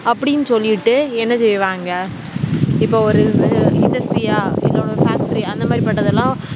அப்டினுசொல்லிட்டு என்ன செய்வாங்க இப்போ ஒரு industry ஆ இல்ல ஒரு factory ஆ அந்த மாதிரி பட்டதெலாம்